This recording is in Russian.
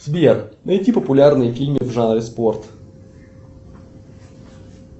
сбер найди популярные фильмы в жанре спорт